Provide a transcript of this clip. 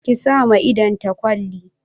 Ki sa ma idon ta kwalli